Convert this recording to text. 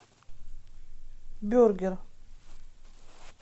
бюргер